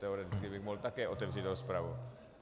Teoreticky bych také mohl otevřít rozpravu.